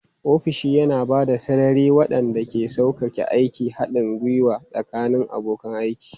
Ofishi yana ba da sarari waɗanda ke sauƙaƙe aikin haɗin gwiwa tsakanin abokan aiki.